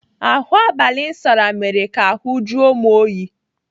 Ahụ abalị m sara mere ka ahụ jụọ m oyi.